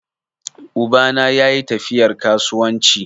Uba na yayi tafiyar kasuwanci.